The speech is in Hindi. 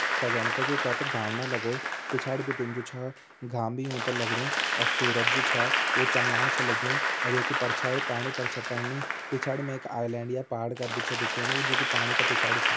सजोंण ताकि कै ता घाम न लगो पिछाड़ी बिटिन जु छ घाम भी यूं तें लगणु अर सूरज जु छ वु चमलाण छ लग्युं ये की परछाई पाणी पर छ पणी पिछाड़ी मा एक आइलैंड या पहाड़ कर छ दिखेणु जु की पाणी का पिछाड़ी छ।